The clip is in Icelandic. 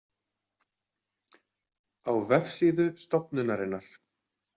Á vefsíðu stofnunarinnar.